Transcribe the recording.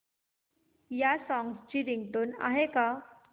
या सॉन्ग ची रिंगटोन आहे का